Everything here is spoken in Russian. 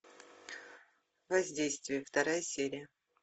воздействие вторая серия